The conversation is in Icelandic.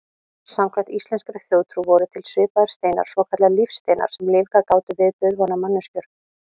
Samkvæmt íslenskri þjóðtrú voru til svipaðir steinar, svokallaðir lífsteinar, sem lífgað gátu við dauðvona manneskjur.